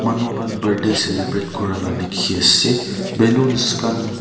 manu khan birthday celebrate kura la dikhi asey ballons khan--